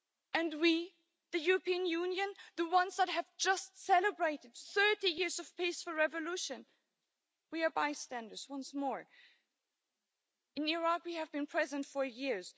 And we, the European Union, the ones that have just celebrated 30 years of peaceful revolution, we are bystanders once more. In Iraq we have been present for years.